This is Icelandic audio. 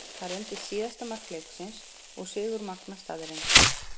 Það reyndist síðasta mark leiksins og sigur Magna staðreynd.